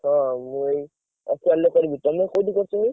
ଅହ, ମୁଁ ଏଇ OCAL ରେ କରିବି, ତମେ କୋଉଠି କରିଚ?